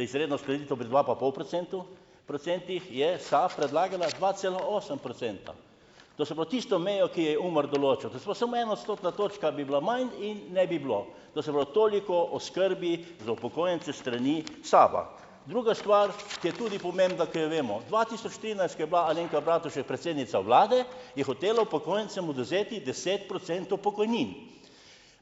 izredna uskladitev pri dva pa pol procentov, procentih, je SAB predlagala dva cela osem procenta. To se pravi tisto mejo, ki jo je UMAR določil. To se pravi, samo ena odstotna točka bi bila manj in ne bi bilo. To se pravi, toliko o skrbi za upokojence s strani SAB-a. Druga stvar, ki je tudi pomembna, ki jo vemo, dva tisoč trinajst, ko je bila Alenka Bratušek predsednica vlade, je hotelo upokojencem odvzeti deset procentov pokojnin.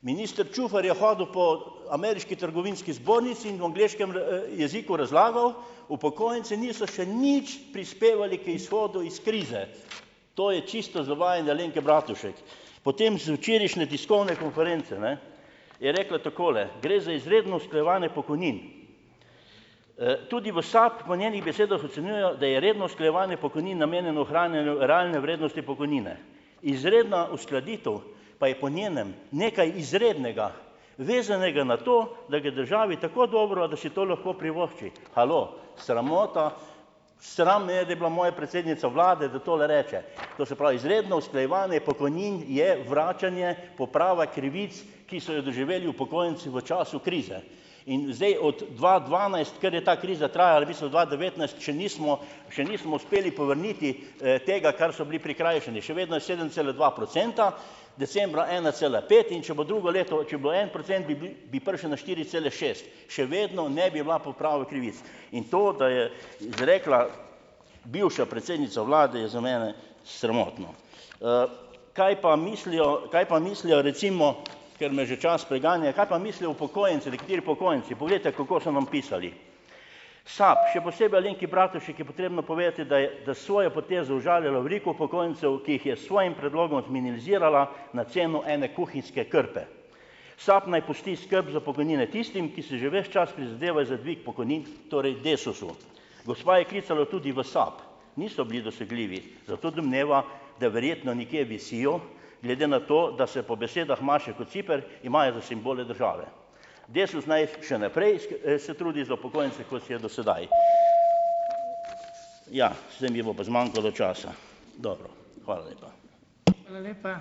Minister Čufar je hodil po Ameriški trgovinski zbornici in v angleškem, jeziku razlagal, upokojenci niso še nič prispevali k izhodu iz krize. To je čisto zavajanje Alenke Bratušek. Potem, z včerajšnje tiskovne konference, je rekla takole - gre za izredno usklajevanje pokojnin. tudi v SAB, po njenih besedah, ocenjujejo, da je redno usklajevanje pokojnin namenjeno ohranjanju realne vrednosti pokojnine. Izredna uskladitev pa je po njenem nekaj izrednega, vezanega na to, da gre državi tako dobro, da si to lahko privošči. Halo? Sramota, sram me je, da je bila moja predsednica vlade, da tole reče ... To se pravi, izredno usklajevanje pokojnin je vračanje, poprava krivic, ki so jo doživeli upokojenci v času krize, in zdaj od dva dvanajst, kar je ta kriza trajala, v bistvu dva devetnajst, še nismo še nismo uspeli povrniti, tega, kar so bili prikrajšani, še vedno je sedem cele dva procenta, decembra ena cele pet, in če bo drugo leto, če bo en procent, bi bili, bi prišli na štiri cele šest, še vedno ne bi bila poprava krivic, in to, da je izrekla bivša predsednica vlade, je za mene sramotno. kaj pa mislijo, kaj pa mislijo recimo - ker me že čas preganja - kaj pa mislijo upokojenci, nekateri upokojenci? Poglejte, kako so vam pisali - SAB, še posebej Alenki Bratušek, je potrebno povedati, da je da s svojo potezo užalila veliko upokojencev, ki jih je s svojim predlogom zminimalizirala na ceno ene kuhinjske krpe. SAB naj pusti skrb za pokojnine tistim, ki si že ves čas prizadevajo za dvig pokojnin, torej Desusu. Gospa je klicala tudi v SAB, niso bili dosegljivi, zato domneva, da verjetno nekje visijo, glede na to, da se po besedah Maše Kociper imajo za simbole države. Desus naj še naprej se trudi za upokojence, kot je do sedaj. Ja, zdaj mi bo pa zmanjkalo časa, dobro. Hvala lepa.